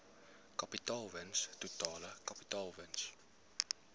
kapitaalwins totale kapitaalwins